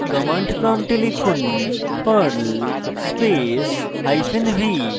command prompt লিখুন perl space hyphen v